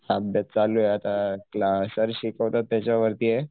अभ्यास चालूये आता क्लास सर शिकवतात त्याच्या वरतीये